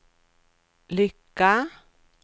lycka